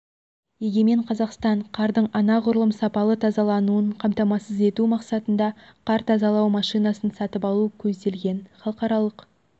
егемен қазақстан қардың анағұрлым сапалы тазалануын қамтамасыз ету мақсатында қар тазалау машинасын сатып алу көзделген халықаралық